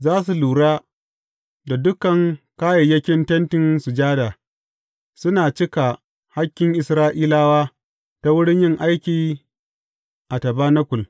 Za su lura da dukan kayayyakin Tentin Sujada, suna cika hakkin Isra’ilawa ta wurin yin aiki a tabanakul.